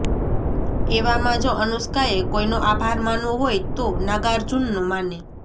એવામાં જો અનુષ્કાએ કોઈનો આભાર માનવો હોય તો નાગાર્જુનનો માને